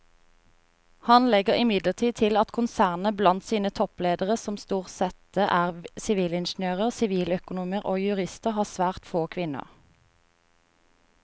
Han legger imidlertid til at konsernet blant sine toppledere som stort sette er sivilingeniører, siviløkonomer og jurister har svært få kvinner.